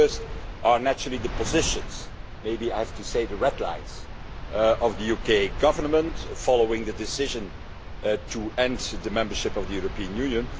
The first are naturally the positions maybe I have to say the red lines of the UK Government following the decision to end the membership of the European Union.